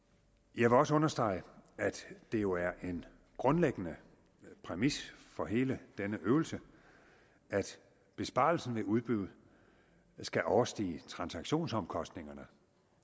jeg vil også understrege at det jo er en grundlæggende præmis for hele denne øvelse at besparelsen ved udbud skal overstige transaktionsomkostningerne